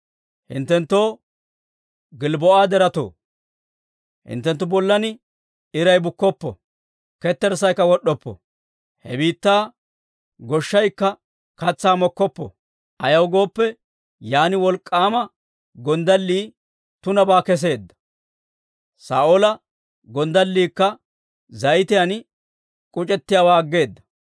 «Hinttenttoo Gilbboo'a deretoo, Hinttenttu bollan iray bukkoppo; ketterssaykka wod'oppo. He biittaa goshshaykka katsaa mokkoppo; ayaw gooppe, yaan wolk'k'aama gonddallii tunabaa kesseedda; Saa'oola gonddalliikka zayitiyaan k'uc'ettiyaawaa aggeeda.